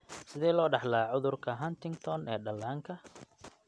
Sidee loo dhaxlaa cudurka Huntington ee dhallaanka (HD)?